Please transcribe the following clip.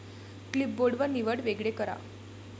clipboard व निवड वेगळे करा